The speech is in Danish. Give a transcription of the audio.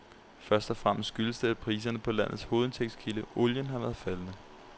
Først og fremmest skyldes det, at priserne på landets hovedindtægtskilde, olien, har været faldende.